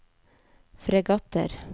fregatter